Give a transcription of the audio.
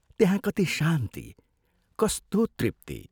त्यहाँ कति शान्ति, कस्तो तृप्ति!